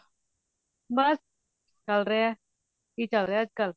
ਬਸ ਚਲ ਰਿਹਾ ਕਿ ਚਲ ਰਿਹਾ ਅੱਜਕਲ